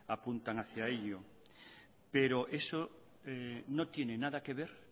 apuntan hacia ello pero eso no tiene nada que ver